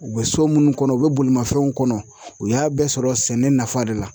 U bɛ so minnu kɔnɔ u bɛ bolimafɛnw kɔnɔ u y'a bɛɛ sɔrɔ sɛnɛ nafa de la